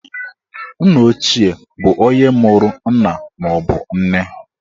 Nneochie bụ onye mụrụ nna maọbụ nne.